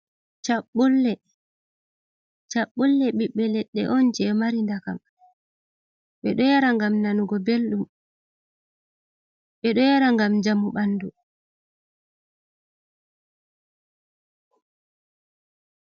Cabbulle. Cabbulle bibbe ledde on je mari ndakam. Bedo yara ngam nanugo belɗum, be do yara ngam jamu bandu.